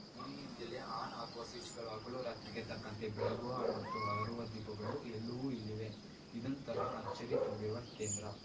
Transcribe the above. ಧ್ವನಿಯಿಂದಲೇ on ಆಗುವ ಸ್ವಿಚ್‌ಗಳು ಹಗಲುರಾತ್ರಿಗೆ ತಕ್ಕಂತೆ ಬೆಳಗುವ ಮತ್ತು ಆರುವ ದೀಪಗಳು ಎಲ್ಲವೂ ಇಲ್ಲಿವೆ ಇದೊಂಥರ ಅಚ್ಚರಿ ತುಂಬಿರುವ ಕೇಂದ್ರ